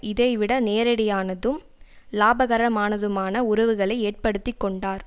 இதை விட நேரடியானதும் இலாபகரமானதுமான உறவுகளை ஏற்படுத்திக்கொண்டார்